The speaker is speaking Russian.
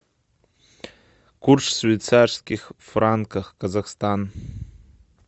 курс швейцарских франков казахстан